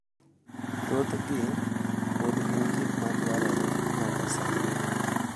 thothgi pod gin gik ma dwarore nyaka sani.